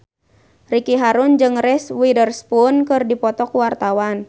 Ricky Harun jeung Reese Witherspoon keur dipoto ku wartawan